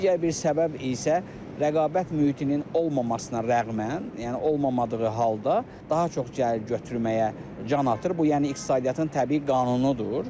Digər bir səbəb isə rəqabət mühitinin olmamasına rəğmən, yəni olmadığı halda daha çox gəlir götürməyə can atır, bu yəni iqtisadiyyatın təbii qanunudur.